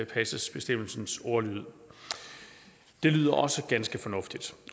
bestemmelsens ordlyd det lyder også ganske fornuftigt